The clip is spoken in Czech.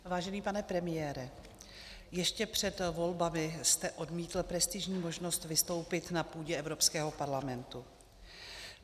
Vážený pane premiére, ještě před volbami jste odmítl prestižní možnost vystoupit na půdě Evropského parlamentu.